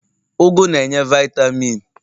ugu na-enye vaitamin